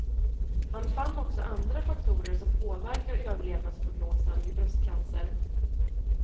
Han fann också andra faktorer som påverkar överlevnadsprognosen vid bröstcancer.